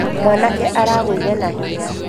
mwanake aragũire na hinya